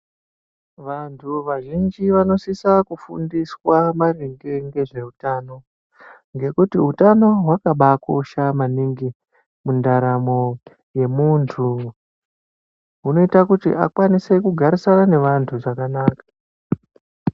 Vantu vazhinji vanosisa kufundiswa maringe ngezveutano, ngekuti utano hwakabakosha maningi mundaramo yemuntu. Hunoita kuti akwanise kugarisana nevantu zvakanaka.